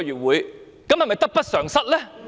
這樣會否得不償失呢？